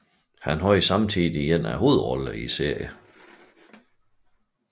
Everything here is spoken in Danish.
Han havde samtidig en af hovedrollerne i serien